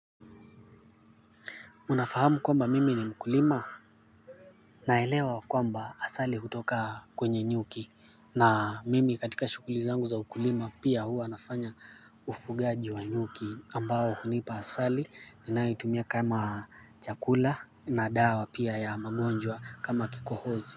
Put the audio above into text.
Unafahamu kwamba mimi ni mkulima naelewa kwamba asali hutoka kwenye nyuki na mimi katika shughuli zangu za ukulima pia huwa nafanya ufugaji wa nyuki ambao hunipa asali ninayoitumia kama chakula na dawa pia ya magonjwa kama kikohozi.